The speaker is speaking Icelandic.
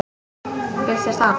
Finnst þér það?